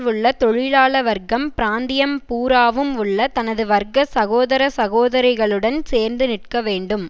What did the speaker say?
உள்ள தொழிலாள வர்க்கம் பிராந்தியம் பூராவும் உள்ள தனது வர்க்க சகோதர சகோதரிகளுடன் சேர்ந்து நிற்க வேண்டும்